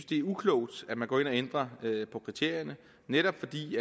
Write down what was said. det er uklogt at man går ind og ændrer på kriterierne netop fordi vi